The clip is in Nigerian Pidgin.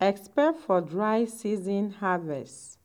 expect for dry season harvest.